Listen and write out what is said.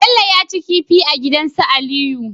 Bello yaci kifi a gidan su aliyu